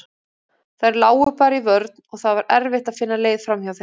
Þær lágu bara í vörn og það var erfitt að finna leið framhjá þeim.